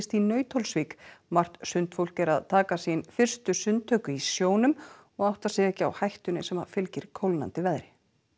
í Nauthólsvík margt sundfólk er að taka sín fyrstu sundtök í sjónum og áttar sig ekki á hættunni sem fylgir kólnandi veðri